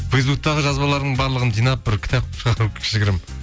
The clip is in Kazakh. фейсбуктегі жазбаларын барлығын жинап бір кітап кішігірім